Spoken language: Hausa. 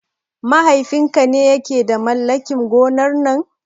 Mahaifin ka ne ya ke da mallakin gonar nan?